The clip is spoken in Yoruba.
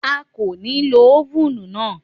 A kò ní lo ófùnù náà